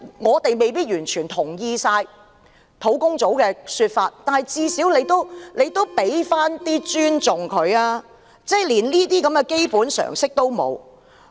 我們未必完全贊同專責小組的說法，但至少你要給他們一點尊重，政府連這種基本常識也沒有。